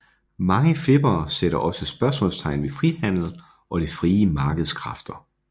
Mange flippere sætter også spørgsmålstegn ved frihandel og det frie markeds kræfter